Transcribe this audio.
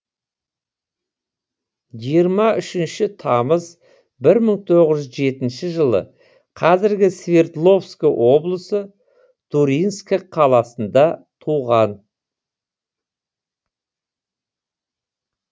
жиырма үшінші тамыз бір мың тоғыз жетінші жылы қазіргі свердловск облысы туринск қаласында туған